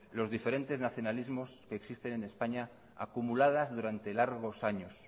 los diferentes nacionalismos que existen en españa acumuladas durante largos años